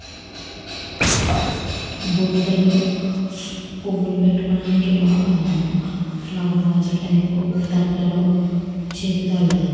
బుటలో పువువులు పెతుకో డానికి ఫ్లోవేర్వసులు ఉన్నాయ్.